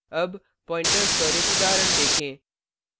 अब pointers पर एक उदाहरण देखें